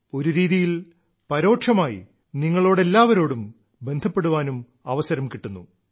ഒരുരീതിയിൽ പരോക്ഷമായി നിങ്ങളോട് എല്ലാവരോടും ബന്ധപ്പെടാൻ അവസരവും കിട്ടുന്നു